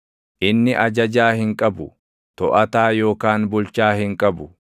Inni ajajaa hin qabu; toʼataa yookaan bulchaa hin qabu;